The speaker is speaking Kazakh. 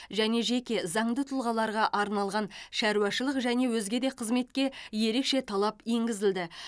және жеке заңды тұлғаларға арналған шаруашылық және өзге де қызметке ерекше талап енгізілді